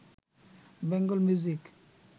Bengal music